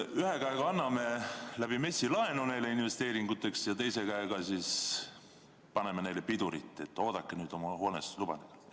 Ühe käega anname MES-i kaudu laenu investeeringuteks ja teise käega siis paneme pidurit: "Oodake nüüd oma hoonestusluba!